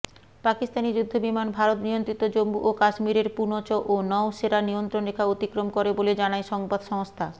পাকিস্তানি যুদ্ধবিমান ভারতনিয়ন্ত্রিত জম্মু ও কাশ্মীরের পুনচ ও নওশেরা নিয়ন্ত্রণরেখা অতিক্রম করে বলে জানায় সংবাদসংস্থা